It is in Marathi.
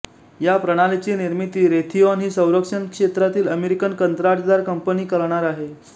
या प्रणालीची निर्मिती रेथीऑन ही संरक्षणक्षेत्रातली अमेरिकन कंत्राटदार कंपनी करणार आहे